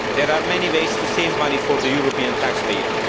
There are many ways to save money for the European taxpayer.